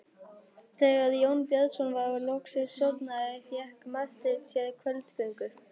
Þegar Jón Bjarnason var loksins sofnaður fékk Marteinn sér kvöldgöngu.